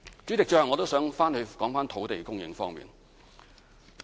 主席，最後我想再談談土地供應方面。